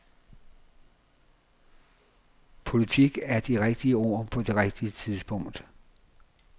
Politik er de rigtige ord på det rigtige tidspunkt.